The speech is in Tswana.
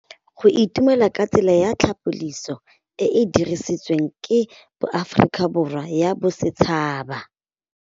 Go itumela ke tsela ya tlhapolisô e e dirisitsweng ke Aforika Borwa ya Bosetšhaba.